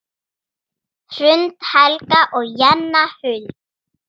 Hrund, Helga og Jenna Huld.